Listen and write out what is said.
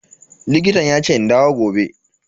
Likitan yace in dawo gobe.